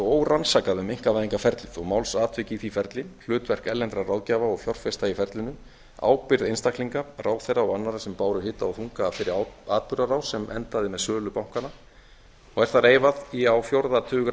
órannsakað um einkavæðingarferlið þó málsatvik í því ferli hlutverk erlendra ráðgjafa og fjárfesta í ferlinu ábyrgð einstaklinga ráðherra og annarra sem báru hita og þunga af þeirri atburðarás sem endaði með sölu bankanna er það reifað í á fjórða tug